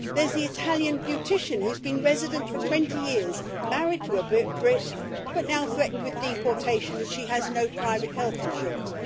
There's the Italian beautician who has been resident for 20 years, married to a Brit, but now threatened with deportation as she has no private health insurance.